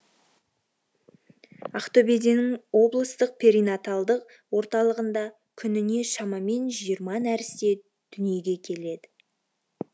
ақтөбеден облыстық перинаталдық орталығында күніне шамамен жиырма нәресте дүниеге келеді